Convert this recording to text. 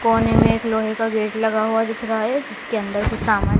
कोने में एक लोहे का गेट लगा हुआ दिख रहा है जिसके अंदर कुछ सामान--